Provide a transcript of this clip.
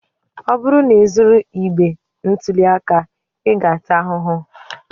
Ọ bụrụ na ị zuru igbe ntụli aka, ị ga-ata ahụhụ.